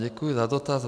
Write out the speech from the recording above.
Děkuji za dotaz.